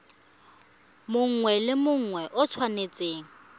mongwe le mongwe o tshwanetse